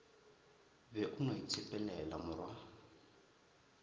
be o no itshepelela morwa